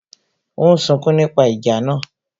Ó ń sunkún nípa ìjà náà